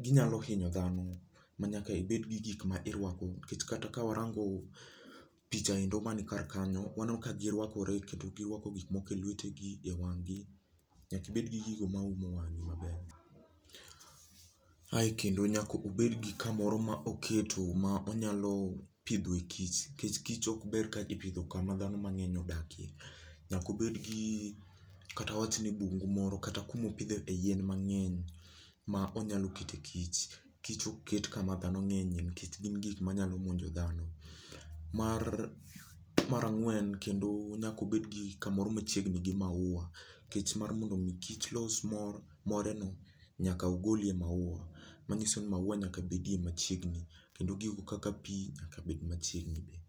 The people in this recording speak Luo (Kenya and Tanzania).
ginyalo hinyo dhano koro nyakibed gi gik mirwako nikech kata ka warango picha endo man kar kanyo waneno ka girwakore kendo girwako gik moko e lwetegi e wanggi nyakibed gi gigo mauomo wangi maber ae kendo nyakobed gi kamoro maoketo mopidhe kich nikech kich ok ber ka ipidho kama dhano mangeny odake nyakobed gi kata awachni bungo moro kata kamaopidhe yien mangeny maonyalo kete kic kich ok ket kama dhano ngenye nikech gin gik manyalo monjo dhano mara ngwen kendo nyakobedgi kamoro machiegni gi maua nikech mar mondo mi kich los more no nyaka ogol e maua manyiso ni maua nyakabedi machiegni kendo gigo kaka pii nyaka bedie machiegni